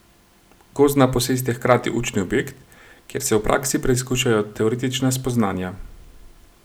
Gozdna posest je hkrati učni objekt, kjer se v praksi preizkušajo teoretična spoznanja.